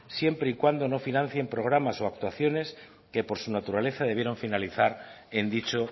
siempre y cuando no financien programas o actuaciones que por su naturaleza debieron finalizar en dicho